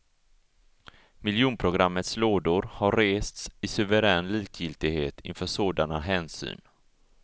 Miljonprogrammets lådor har rests i suverän likgiltighet inför sådana hänsyn.